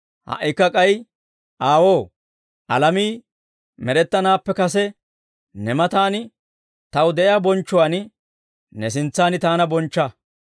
Ha"ikka k'ay Aawoo, alamii med'ettanaappe kase ne matan Taw de'iyaa bonchchuwaan ne sintsan Taana bonchcha.